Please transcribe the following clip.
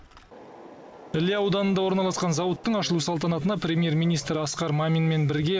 іле ауданында орналасқан зауыттың ашылу салтанатына премьер министр асқар маминмен бірге